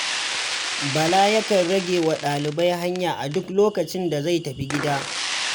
Bala yakan rage wa ɗalibai hanya a duk lokacin da zai tafi gida.